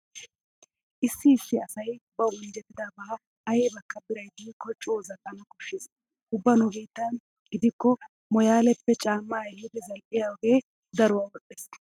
Issi issi asay bawu injjetidaba aybakka biray diikko coo zal"ana koshshees. Ubba nu biittan gidikko mooyaaleppe caammaa ehidi zal"iyoge daruwa wodhdhees.